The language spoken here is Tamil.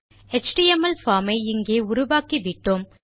எச்டிஎம்எல் பார்ம் ஐ இங்கே உருவாக்கிவிட்டோம்